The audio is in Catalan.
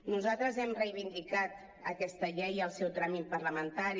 nosaltres hem reivindicat aquesta llei i el seu tràmit parlamentari